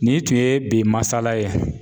Nin tun ye bi masala ye.